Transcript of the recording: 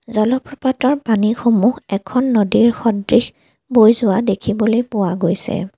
জলপ্ৰপাতৰ পানীসমূহ এখন নদীৰ সদৃশ বৈ যোৱা দেখিবলৈ পোৱা গৈছে।